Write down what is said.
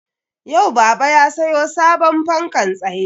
Yau baba ya sayo sabon fankan tsaye